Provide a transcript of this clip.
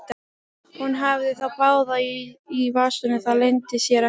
Hún hafði þá báða í vasanum, það leyndi sér ekki.